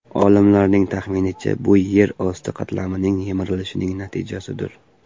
Olimlarning taxminicha, bu yer osti qatlamining yemirilishining natijasidir.